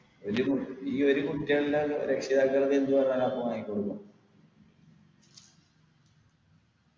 എന്തിനു ഈ ഒരു കുട്ടികളുള്ള രക്ഷിതാക്കള് എന്ത് പറഞ്ഞാലും അവർക്ക് വാങ്ങിക്കൊടുക്കും